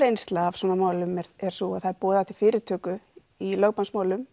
reynsla af svona málum er sú að það er boðað í fyrirtöku í